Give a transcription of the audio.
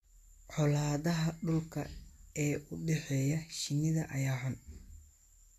Colaadaha dhulka ee u dhexeeya shinnida ayaa xun.